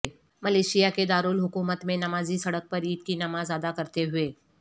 Malaysia کے دارالحکومت میں نمازی سڑک پر عید کی نماز ادا کرتے ہوئے